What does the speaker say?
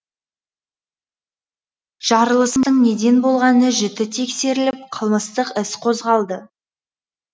жарылыстың неден болғаны жіті тексеріліп қылмыстық іс қозғалды